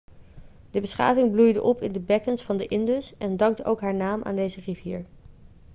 de beschaving bloeide op in de bekkens van de indus en dankt ook haar naam aan deze rivier